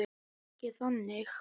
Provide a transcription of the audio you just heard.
Ekki þannig.